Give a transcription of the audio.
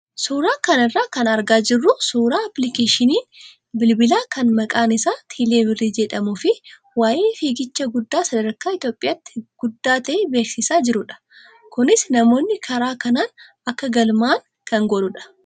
Suuraa kana irraa kan argaa jirru suuraa appilikeeshinii bilbilaa kan maqaan isaa teeleebirrii jedhamuu fi waayee fiigicha guddaa sadarkaa Itoophiyaatti guddaa ta'e beeksisaa jirudha. Kunis namoonni karaa kanaan akka galmaa'an kan godhudha.